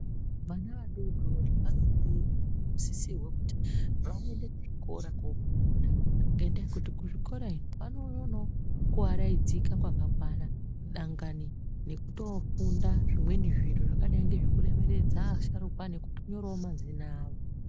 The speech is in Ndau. Vana vadodori vanofanirwa kusisirwa kuti vaende kuzvikora kufunda ngendaa yekuti kuzvikora iyo vanoonawo kuvaraidzika kwakakwana, dangani nekutofunda zvimweni zviro zvakadai ngezvekutoremeredza asharuka nekutonyorawo mazina avo.